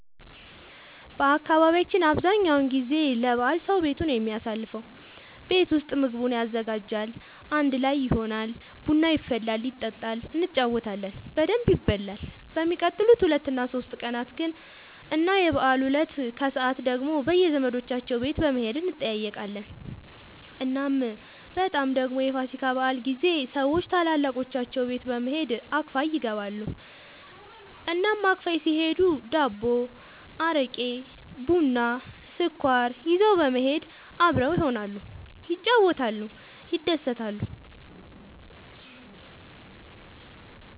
በአካባቢያችን አብዛኛው ጊዜ ለበዓል ሰዉ ቤቱ ነው የሚያሳልፈው። ቤት ውስጥ ምግቡን ያዘጋጃል፣ አንድ ላይ ይሆናል፣ ቡና ይፈላል ይጠጣል እንጫወታለን በደንብ ይበላል በሚቀጥሉት ሁለት እና ሶስት ቀናት ግን እና የበዓሉ እለት ከሰዓት ደግሞ በየዘመዶቻቸው ቤት በመሄድ እንጠያየቃለን። እናም በጣም ደግሞ የፋሲካ በዓል ጊዜ ሰዎች ታላላቆቻቸው ቤት በመሄድ አክፋይ ይገባሉ። እናም አክፋይ ሲሄዱ ዳቦ፣ አረቄ፣ ቡና፣ ስኳር ይዘው በመሄድ አብረው ይሆናሉ፣ ይጫወታሉ፣ ይደሰታሉ።